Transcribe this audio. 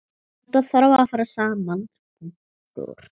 Þetta þarf að fara saman.